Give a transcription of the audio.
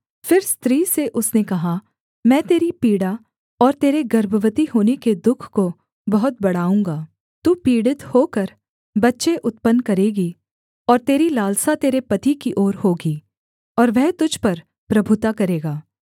फिर स्त्री से उसने कहा मैं तेरी पीड़ा और तेरे गर्भवती होने के दुःख को बहुत बढ़ाऊँगा तू पीड़ित होकर बच्चे उत्पन्न करेगी और तेरी लालसा तेरे पति की ओर होगी और वह तुझ पर प्रभुता करेगा